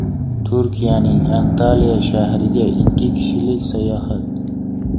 Turkiyaning Antaliya shahriga ikki kishilik sayohat .